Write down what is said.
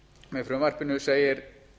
með frumvarpinu segir